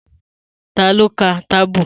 Ta ló ta kábù?